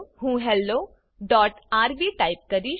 હું hello RB type કરીશ